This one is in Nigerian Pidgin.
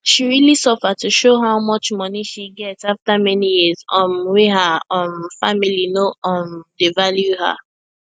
she realy suffer to show how much money she get after many years um wey her um family no um dey value her